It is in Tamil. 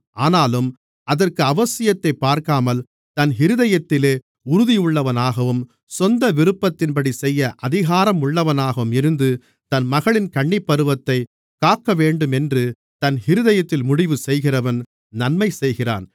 ஆனாலும் அதற்கு அவசியத்தைப் பார்க்காமல் தன் இருதயத்திலே உறுதியுள்ளவனாகவும் சொந்த விருப்பத்தின்படிசெய்ய அதிகாரம் உள்ளவனாகவும் இருந்து தன் மகளின் கன்னிப்பருவத்தைக் காக்கவேண்டுமென்று தன் இருதயத்தில் முடிவுசெய்கிறவன் நன்மை செய்கிறான்